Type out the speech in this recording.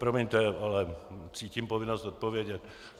Promiňte, ale cítím povinnost odpovědět.